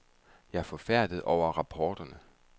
Jeg er forfærdet over rapporterne.